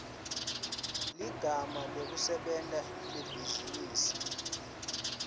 ligama lekusebenta lebhizinisi